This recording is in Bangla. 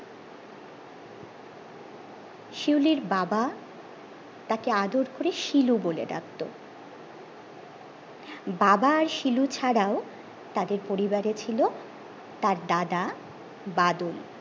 শিউলির বাবা তাকে আদর করে শিলু বলে ডাকতো বাবা আর শিলু ছাড়াও তাদের পরিবারে ছিল তার দাদা বাদল